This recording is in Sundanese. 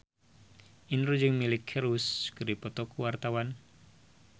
Indro jeung Miley Cyrus keur dipoto ku wartawan